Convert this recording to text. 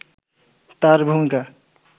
তার ভূমিকা